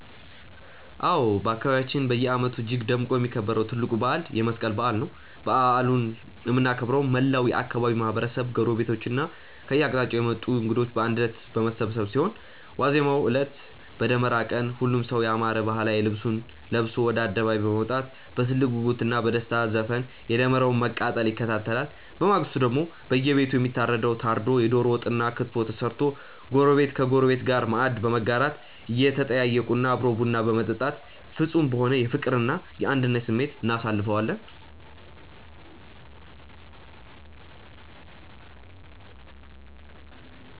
አዎ፣ በአካባቢያችን በየዓመቱ እጅግ ደምቆ የሚከበረው ትልቁ በዓል የመስቀል በዓል ነው። በዓሉን የምናከብረው መላው የአካባቢው ማህበረሰብ፣ ጎረቤቶችና ከየአቅጣጫው የመጡ እንግዶች በአንድነት በመሰባሰብ ሲሆን፣ ዋዜማው ዕለት (በደመራ ቀን) ሁሉም ሰው ያማረ ባህላዊ ልብሱን ለብሶ ወደ አደባባይ በመውጣት በትልቅ ጉጉትና በደስታ ዘፈን የደመራውን መቃጠል ይከታተላል። በማግስቱ ደግሞ በየቤቱ የሚታረደው ታርዶ፣ የደሮ ወጥና ክትፎ ተሰርቶ ጎረቤት ከጎረቤት ጋር ማዕድ በመጋራት፣ እየተጠያየቁና አብሮ ቡና በመጠጣት ፍጹም በሆነ የፍቅርና የአንድነት ስሜት እናሳልፈዋለን።